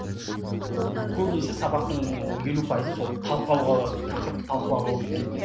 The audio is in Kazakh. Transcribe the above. көбінесе сабақтың елу пайызын сол талқылауға тақырыпты талқылауға өткізетін едік